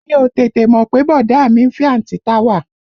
Mi ò tètè mọ̀ pé bọ̀dá à mi ń fẹ́ àǹtí Táwà